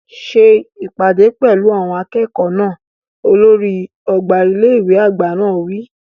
Ṣe ìpàdé pẹ̀lú àwọn akẹ́kọ̀ọ́ náà! Olórí ọgbà ilé ìwé àgbà náà wí.